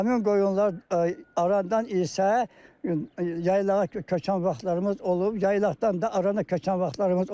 Həmin qoyunlar arandan isə yaylağa köçən vaxtlarımız olub, yaylaqdan da arana köçən vaxtlarımız olub.